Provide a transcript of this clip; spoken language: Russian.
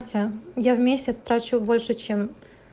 все я в месяц трачу больше чем